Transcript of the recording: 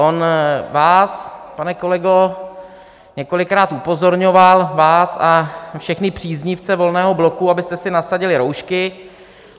On vás, pane kolego, několikrát upozorňoval vás a všechny příznivce Volného bloku, abyste si nasadili roušky.